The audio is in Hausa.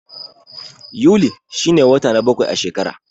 Yuli shi ne wata na bakwai a shekara.